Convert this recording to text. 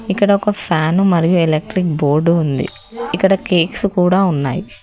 ఇక్కడ ఒక ఫ్యాను మరియు ఎలక్ట్రిక్ బోర్డు ఉంది ఇక్కడ కేక్స్ కూడ ఉన్నాయి.